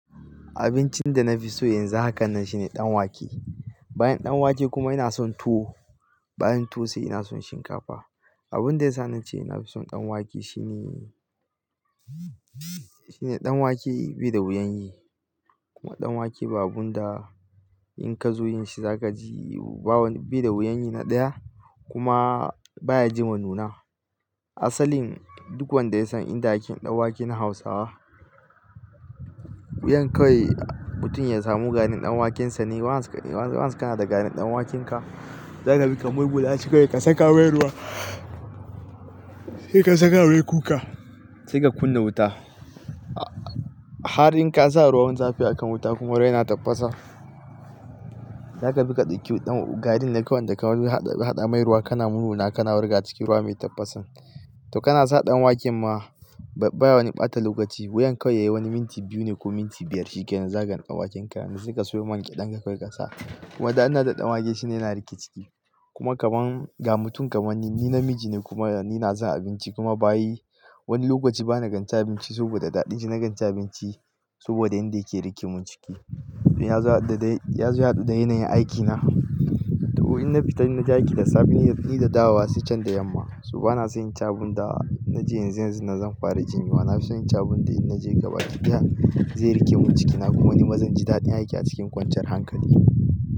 Abincin da na fi so yanzu haka nan shine ɗanwake. Bayan ɗanwake kuma ina son tuwo, bayan tuwo sai ina son shinkafa. Abun da ya sa na ce ina fi son ɗanwake shine, shine ɗanwake bi da wuyan yi. Kuma ɗanwake ba abun da in ka zo yin shi zaka ji ba wani bi da wuyan yi na ɗaya kuma baya ji ma nuna. Asalin duk wanda ya san inda ake ɗanwake na Hausawa. Wuyan kawai mutum ya samu garin ɗanwaken sa ne. Once kan, once ka na da garin ɗanwakenka. Zaka bi ka mur guza shi kawai ka saka mai ruwa, sai ka saka mai kuka, sai ka kunna wuta. Har in ka sa ruwan zafi akan wuta kuma wayar yana tafasa, zaka bi ka ɗauki ɗan garin da kawai inda ka hau bi haɗa mai ruwa kana mummulawa kana wurga cikin ruwa mai tafasan. To kana sa ɗanwaken ma, baya wani ɓata lokaci. Wuyan kawai yayi wani minti biyu ne ko minti biyar shiken zagan ɗanwakenka. To saika sayo Man gyeɗan ka kawai ka sa. Wadda ana da ɗanwake shine yana riƙe ciki. Kuma kaman ga mutum kaman ni, ni namiji ne kuma ni na san abinci kuma bayi wani lokaci bana ganci abinci saboda daɗin shi na ganci abinci saboda inda yake riƙe mun ciki. Ya zo ya haɗu da yanayin aikina. To in na fita inaje aiki da safe ni da dawowa sai can da yamma. To bana son inci abun da ina ci yanzu yanzun nan zan fara jinyuwa. Na fi son inci abun da in na je gaba jiki ya, zai riƙe mun cikina kuma nima zan ji daɗin aiki a cikin kwanciyar hankali.